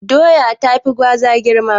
Doya tafi Gwaza girma.